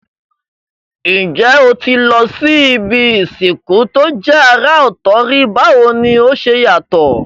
N jé o ti lo si ibi ìsìnkú to je àrà òtò rí, báwoni o se yàtò?